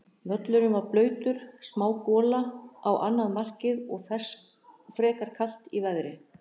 Völlurinn var blautur, smá gola á annað markið og frekar kalt í veðri.